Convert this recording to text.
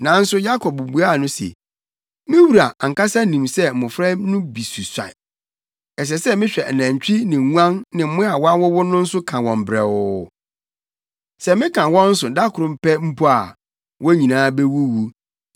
Nanso Yakob buaa no se, “Me wura ankasa nim sɛ mmofra no bi susua. Ɛsɛ sɛ mehwɛ anantwi ne nguan ne mmoa a wɔawowo no nso ka wɔn brɛoo. Sɛ meka wɔn so da koro pɛ mpo a, wɔn nyinaa bewuwu.